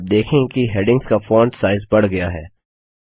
तो आप देखेंगे कि हैडिंग्स का फॉन्ट साइज बढ़ गया है